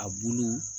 A bulu